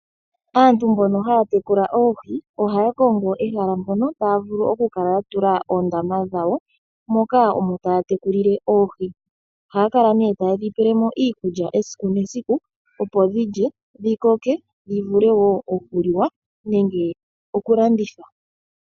Aantu mbono haatekula oohi ohaa kongo ehala mpono taavulu okukala yatula oondama dhawo moka omo taatekulile oohi. Ohaa kala nee taye dhi pelemo iikulya esiku nesiku opo dhilye dhikoke dhivule okulandithwa.